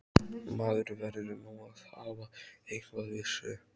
Maður verður nú að hafa eitthvað við sig!